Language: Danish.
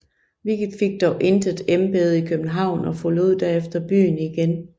Wickede fik dog intet embede i København og forlod derfor byen igen